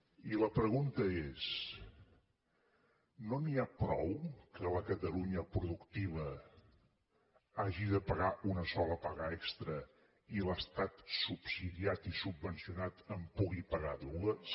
i la pregunta és no n’hi ha prou que la catalunya productiva hagi de pagar una sola paga extra i l’estat subsidiat i subvencionat en pugui pagar dues